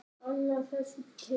Annað þessu tengt.